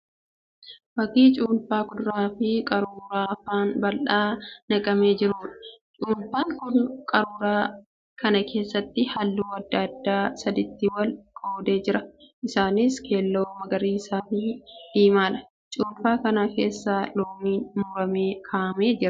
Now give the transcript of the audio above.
Fakkii cuunfaa kuduraa kan qaruuraa afaan bal'aatti naqamee jiruudha. Cuunfaan kun qaruuraa kana keessatti halluu adda addaa sadiitti wal qoodee jira. Isaaniis keelloo, magariisaa fi diimaadha. Cuunfaa kana keessa loomiin muramee ka'aamee jira.